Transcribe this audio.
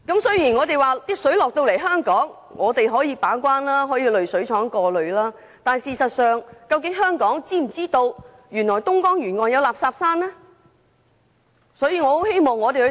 雖然食水輸送到香港後可由本地把關，在濾水廠進行過濾，但港府事實上是否知道東江沿岸有垃圾山的問題？